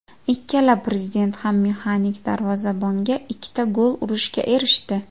Ikkala prezident ham mexanik darvozabonga ikkita gol urishga erishdi.